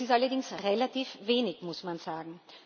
Das ist allerdings relativ wenig, muss man sagen.